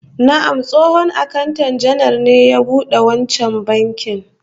Na'am, tsohon akanta janar ne ya bude wancan bankin